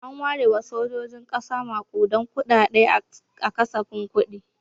An ware wa sojojin ƙasa maƙudan kuɗaɗe a kasafin kuɗi.